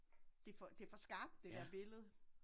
Det for det for skarpt det der billede